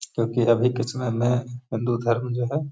क्योंकि अभी के समय मे हिन्दू धर्म जो है।